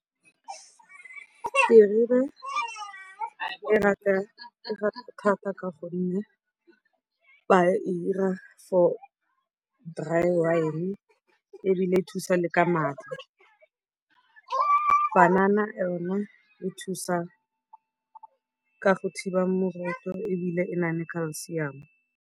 Terebe ke e rata thata ka gonne ba e dira for dry wine ebile e thusa le ka maatla. Panana yone e thusa ka go thiba moroto ebile e na le calcium-o.